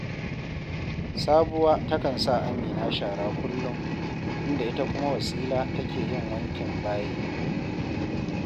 Sabuwa takan sa Amina shara kullum, inda ita kuma Wasila take yin wankin bayi